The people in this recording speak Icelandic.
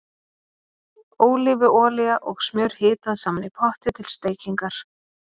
Ólífuolía og smjör hitað saman í potti til steikingar.